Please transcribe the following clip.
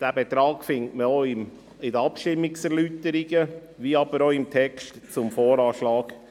Diesen Betrag findet man auch in den Abstimmungserläuterungen, ebenso im Text zum VA 2019.